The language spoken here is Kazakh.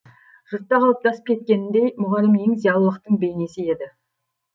жұртта қалыптасып кеткеніндей мұғалім ең зиялылықтың бейнесі еді